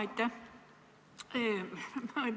Aitäh!